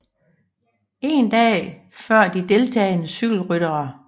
En dag før de deltagende cykelryttere